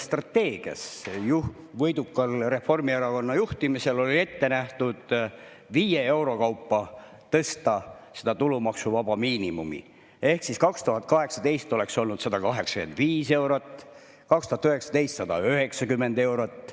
Võidukal Reformierakonna juhtimisel oli riigi eelarvestrateegias ette nähtud viie euro kaupa tõsta tulumaksuvaba miinimumi: ehk siis 2018 oleks olnud 185 eurot, 2019 190 eurot.